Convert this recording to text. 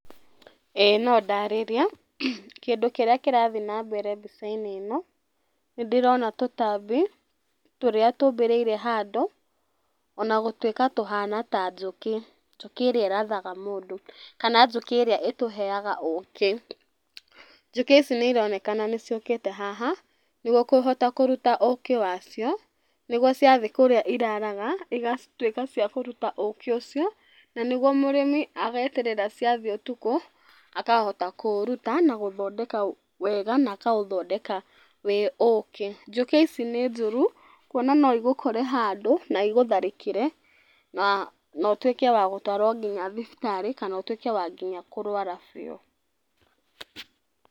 ĩĩ no ndarĩrie. Kĩndũ kĩrĩa kĩrathiĩ na mbere mbica-inĩ ĩno, nĩ ndĩrona tũtambi, tũrĩa tũmbĩrĩire handũ ona gũtuĩka tũhana ta njũkĩ. Njũkĩ ĩrĩa ĩrathaga mũndũ, kana njũkĩ ĩrĩa ĩtũheaga ũkĩ. Njukĩ ici nĩironekana nĩ ciũkĩte haha nĩguo kũhota kũruta ũkĩ wacio, nĩguo ciathiĩ kũrĩa iraraga igatuĩka cia kũruta ũkĩ ũcio, na nĩguo mũrĩmi ageterera ciathiĩ ũtukũ akahota kũũruta na gũthondeka wega na akaũtondeka wĩ ũkĩ. Njũkĩ ici nĩ njũru kuona no igũkore handũ na igũtharĩkĩre, na na ũtuĩke wa gũtũrwo nginya thibitarĩ kana ũtuĩke nginya wa kũrwara biũ.